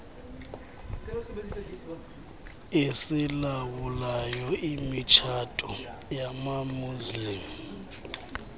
esilawulayo imitshato yamamuslim